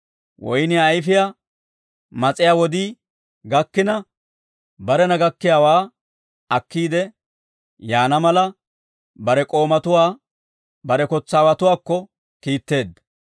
Woynniyaa ayfiyaa mas'iyaa wodii gakkina, barena gakkiyaawaa akkiide yaana mala, bare k'oomatuwaa bare kotsaawatuwaakko kiitteedda.